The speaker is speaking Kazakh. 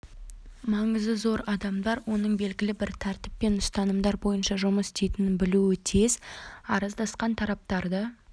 маңызы зор адамдар оның белігілі бір тәртіп пен ұстанымдар бойынша жұмыс істейтінін білуі тиіс араздасқан тараптарды